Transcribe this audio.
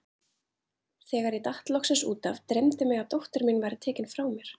Þegar ég datt loksins út af, dreymdi mig að dóttir mín væri tekin frá mér.